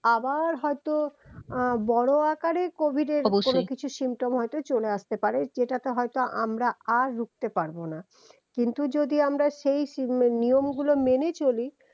আবার হয়তো আহ বড় আকারে covid এর কোন কিছু symptom হয়তো চলে আসতে পারে যেটাকে হয়তো আমরা আর রুখতে পারবোনা কিন্তু যদি আমরা সেই নিয়ম গুলো মেনে চলি